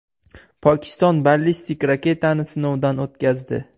Pokiston ballistik raketani sinovdan o‘tkazdi.